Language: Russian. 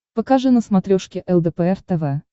покажи на смотрешке лдпр тв